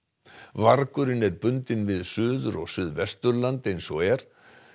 vargurinn er bundinn við Suður og Suðvesturland eins og er